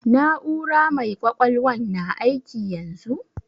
Na'ura mai ƙwaƙwalwan na aiki yanzu?